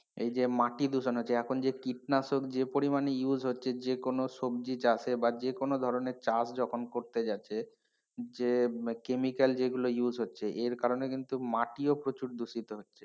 এই যে মাটি দূষণ হচ্ছে এখন যে কীটনাশক যে পরিমাণে use হচ্ছে যেকোনো সবজি চাষে বা যে কোন ধরণের চাষ যখন করতে যাচ্ছে যে যে chemical যেগুলো use হচ্ছে এর কারণে কিন্তু মাটি ও প্রচুর দূষিত হচ্ছে।